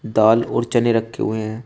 दाल और चने रखे हुए हैं।